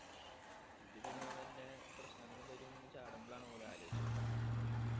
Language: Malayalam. ഇതുപിന്നെ വല്ല പ്രശ്നങ്ങള് വരും ന്നു ചാടുമ്പോളാണ് ഓല് ആലോച്ച്